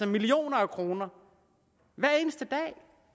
millioner af kroner hver eneste dag